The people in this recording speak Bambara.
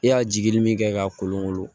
E y'a jigi di min kɛ ka kolon kolo